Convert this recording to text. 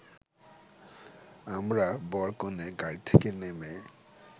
আমরা বর-কনে গাড়ি থেকে নেমে